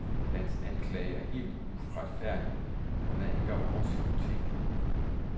Deres anklage er helt uretfærdig, og hvad angår os, utænkelig.